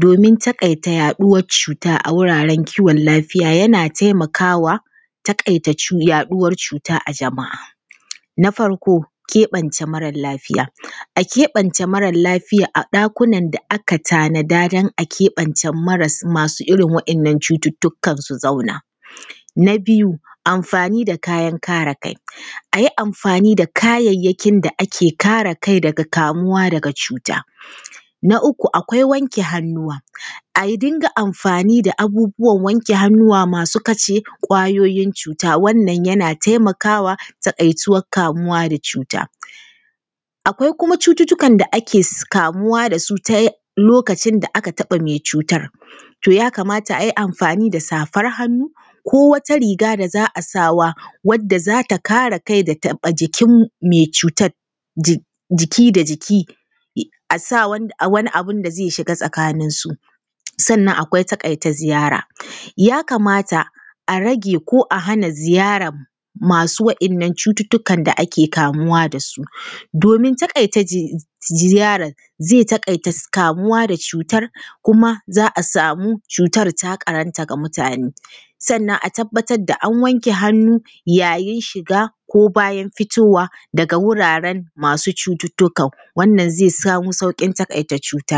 domin taƙaita yaɗuwar cuta a wuraren kiwon lafiya yana taimakawa taƙaita cu yaɗuwar cuta a jama’a. Na farko keɓance mara lafya: A keɓance mara lafiya a ɗakunan da aka tanada don a keɓance masu irin waɗannan cututtukan su zauna. Na biyu amfani da kayan kare kai: A yi amfani da kayayyakin da ake kare kai daga kamuwa daga cuta. Na uku, akwai wake hannuwa: A dinga amfani da abubuwan wanke hannuwa masu kasha ƙwayoyin cuta, wannan yana taimakawa taƙaituwan kamuwa da cuta. Akwai kuma cututtukan da ake kamuwa da su ta lokacin da aka taɓa mai cutar. To ya kamata a yi amfani da safar hannu ko wata riga da za a sawa wadda za ta kare kai da taɓa jikin mai cutan ji jiki da jiki, a sa wani abun da zai shiga tsakaninsu. Sannan akwai taƙaita ziyara: Ya kamata a rage ko a hana ziyarar masu wa’innan cututtukan da ake kamuwa da su, domin taƙaita ziyarar zai taƙaita kamuwa da cutar kuma za a samu cutar ta ƙarata da mutane. Sannan a tabbatar da an wanke hannu ya yin shiga ko bayan fitowa daga wuraren masu cututtukan, wannan zai samu sauƙin taƙaita cutar.